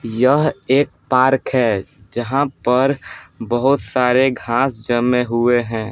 यह एक पार्क है जहां पर बहुत सारे घास जमे हुए हैं ।